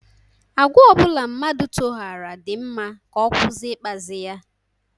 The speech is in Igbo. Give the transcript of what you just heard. Agwa obula mmadu toghara di mma ka o kwusi ikpazi ya.